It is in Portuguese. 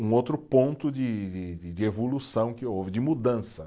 um outro ponto de de de evolução que houve, de mudança.